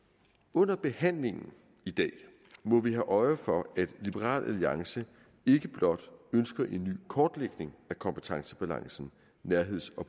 under behandlingen i dag må vi have øje for at liberal alliance ikke blot ønsker en ny kortlægning af kompetencebalancen og nærheds og